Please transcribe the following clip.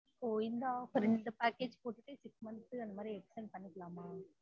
so இந்த offer இந்த package போட்டுட்டு sixmonth அந்த மாதிரி extent பன்னிகிலமா